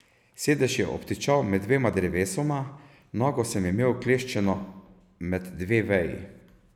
Sedež je obtičal med dvema drevesoma, nogo sem imel vkleščeno med dve veji.